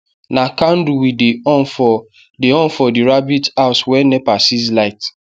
na candle we dey on for dey on for the rabbit house wen nepa sieze light